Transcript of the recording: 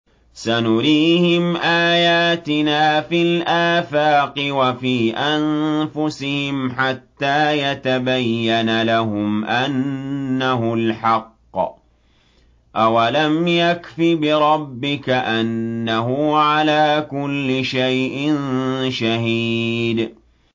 سَنُرِيهِمْ آيَاتِنَا فِي الْآفَاقِ وَفِي أَنفُسِهِمْ حَتَّىٰ يَتَبَيَّنَ لَهُمْ أَنَّهُ الْحَقُّ ۗ أَوَلَمْ يَكْفِ بِرَبِّكَ أَنَّهُ عَلَىٰ كُلِّ شَيْءٍ شَهِيدٌ